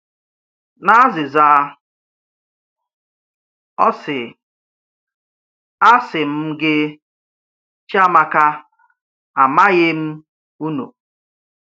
N’azịza, ọ sị: A sị m gị, Chiamaka, a maghị m unu.